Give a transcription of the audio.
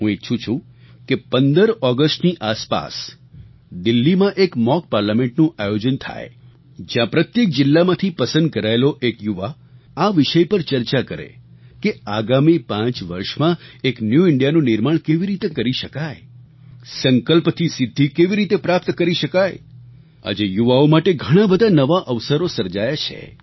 હું ઈચ્છું છું કે 15 ઑગસ્ટની આસપાસ દિલ્હીમાં એક મૉક પાર્લામેન્ટનું આયોજન થાય જ્યાં પ્રત્યેક જિલ્લામાંથી પસંદ કરાયેલો એક યુવા આ વિષય પર ચર્ચા કરે કે આગામી પાંચ વર્ષમાં એક ન્યૂ Indiaનું નિર્માણ કેવી રીતે કરી શકાય સંકલ્પથી સિદ્ધિ કેવી રીતે પ્રાપ્ત કરી શકાય આજે યુવાઓ માટે ઘણા બધા નવા અવસરો સર્જાયા છે